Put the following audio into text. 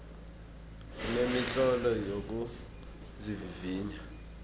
kunemitlolo yokuzivivinya